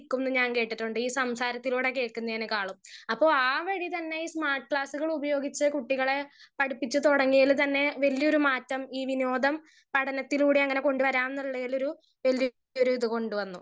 speaker 1 നിക്കും ന്ന് ഞാൻ കേട്ടിട്ടുണ്ട് ഈ സംസാരത്തിലൂടെ കേക്കുന്നതിനേക്കാളും അപ്പൊ ആ വരിതന്നെ ഈ സ്മാർട്ട് ക്ലാസുകൾ ഉപയോഗിച്ച് കുട്ടികളെ പഠിപ്പിച്ച് തൊടങ്ങിയൽ തന്നെ വലിയൊരു മാറ്റം ഈ വിനോദം പഠനത്തിലൂടെ എങ്ങനെ കൊണ്ടുവരാന്നിളെലൊരു എന്ത് ഒരു ഇത് കൊണ്ടുവന്നു